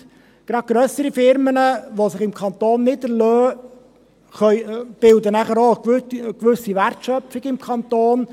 Gerade grössere Unternehmen, welche sich im Kanton niederlassen, bilden eine gewisse Wertschöpfung im Kanton.